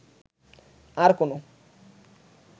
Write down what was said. আর কোন